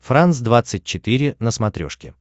франс двадцать четыре на смотрешке